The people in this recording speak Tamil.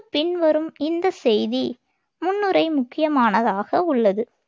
பின் வரும் இந்த செய்தி முன்னுரை முக்கியமானதாக உள்ளது.